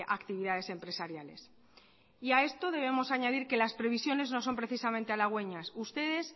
actividades empresariales y a esto debemos añadir que las previsiones no son precisamente halagüeñas ustedes